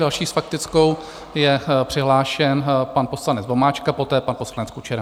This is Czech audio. Další s faktickou je přihlášen pan poslanec Vomáčka, poté pan poslanec Kučera.